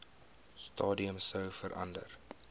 stadium sou verander